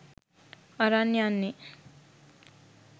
අරන් යන්නේ